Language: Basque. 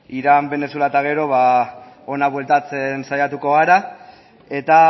irán venezuela eta gero hona bueltatzen saiatuko gara eta